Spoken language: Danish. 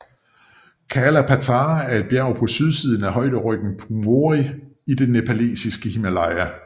Kala Patthar er et bjerg på sydsiden af højderyggen Pumori i det nepalesiske Himalaya